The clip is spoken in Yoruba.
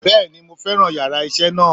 Bẹ́ẹ̀ni mo fẹ́ràn yàrá isé náà